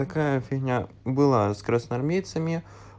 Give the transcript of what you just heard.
такая фигня была с красноармейцами